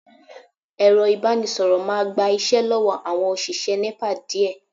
Ẹ̀rọ ìbánisọ̀rọ̀ máa gba iṣẹ́ lọ́wọ́ àwọn òṣìṣẹ́ Nepa díẹ̀